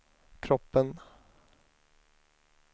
kroppen